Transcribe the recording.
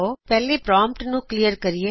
ਪਹਿਲੇ ਪ੍ਰਾਮਪਟ ਨੂੰ ਕਲੀਅਰ ਕਰਿਏ